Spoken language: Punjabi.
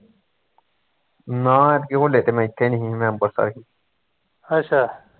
ਨਾ ਐਤਕੀਂ ਹੋਲੇ ਤੇ ਮੈਂ ਇੱਥੇ ਨੀ ਸੀ ਮੈਂ ਅਂਬਰਸਰ ਸੀ